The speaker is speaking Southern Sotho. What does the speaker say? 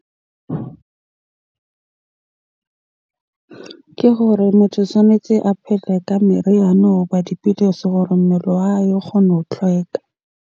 Ke hore motho tshwanetse a ka meriana hoba dipidisi hore mmele wa hae o kgone ho tlhweka.